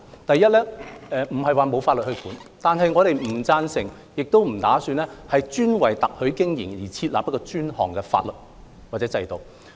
第一，現時並非沒有法例規管特許經營，但我們不贊成亦不打算為特許經營設立專項法例或制度。